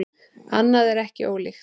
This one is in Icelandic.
Annað er ekki ólíkt.